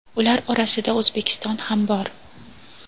Ular orasida O‘zbekiston ham bor.